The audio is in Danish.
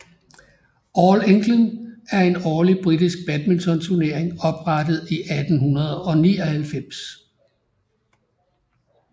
All England er en årlig britisk badminton turnering oprettet i 1899